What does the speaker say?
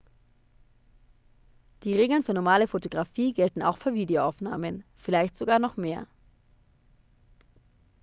die regeln für normale fotografie gelten auch für videoaufnahmen vielleicht sogar noch mehr